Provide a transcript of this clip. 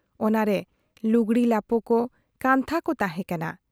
ᱚᱱᱟ ᱨᱮ ᱞᱩᱜᱽᱲᱤ ᱞᱟᱯᱚ ᱠᱚ, ᱠᱟᱱᱛᱦᱟ ᱠᱚ ᱛᱟᱦᱮᱸ ᱠᱟᱱᱟ ᱾